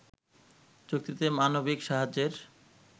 চুক্তিতে মানবিক সাহায্যের